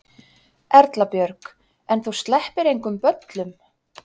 Erla Björg: En þú sleppir engum böllum?